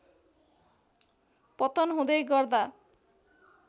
पतन हुँदै गर्दा